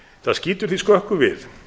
það skýtur því skökku við